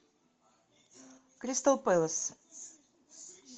кристал пэлас